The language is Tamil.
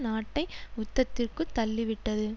நாட்டை யுத்தத்திற்குள் தள்ளிவிட்டது